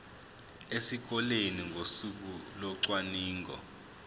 esikoleni ngosuku locwaningo